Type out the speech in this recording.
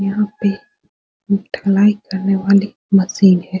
यहां पे ढलाई करने वाली मशीन है।